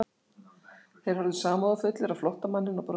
Þeir horfðu samúðarfullir á flóttamanninn og brostu.